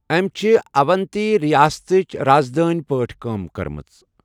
أمۍ چھِ اونتی رِیاستٕچ راز دٲنی پٲٹھی کٲم کٔرمژ۔